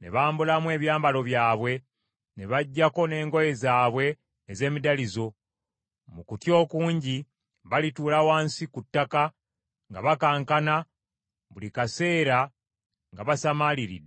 ne bambulamu ebyambalo byabwe ne baggyako n’engoye zaabwe ez’emiddalizo. Mu kutya okungi, balituula wansi ku ttaka, nga bakankana buli kaseera nga basamaaliridde.